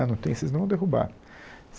Ah, não tem, vocês não vão derrubar.